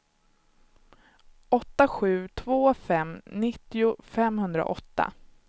åtta sju två fem nittio femhundraåtta